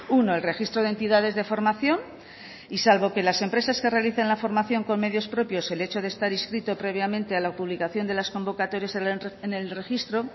uno el registro de entidades de formación y salvo que las empresas que realicen la formación con medios propios el hecho de estar inscrito previamente a la publicación de las convocatorias en el registro